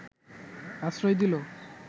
আশ্রয় দিল